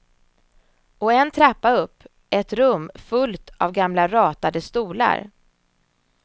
Och en trappa upp, ett rum fullt av gamla ratade stolar.